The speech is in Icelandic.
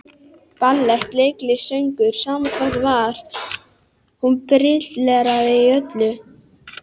Ballett, leiklist, söngur, sama hvað var, hún brilleraði í öllu.